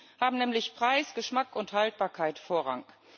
Für ihn haben nämlich Preis, Geschmack und Haltbarkeit Vorrang.